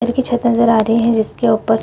ऊपर की छत नजर आ रही हैं जिसके उपर --